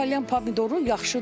Salyan pomidoru yaxşıdır.